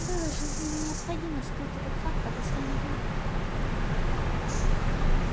было жизненно необходимо скрыть этот факт от остального мира